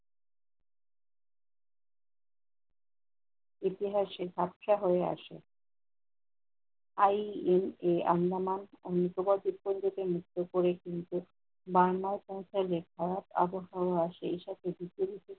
ইতিহাসে ঝাপসা হয়ে আসে। IEA আন্দামান অনুপ্রবাদ ভূখন্ডকে মুক্ত করে তিনি কিন্তু বাংলায় পৌঁছাইলে খারাপ আবহাওয়া সেই সাথে দ্বিতীয়